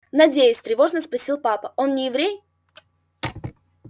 надеюсь тревожно спросил папа он не еврей